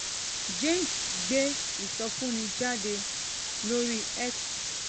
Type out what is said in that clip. james gbé ìsọfúnni jáde lórí x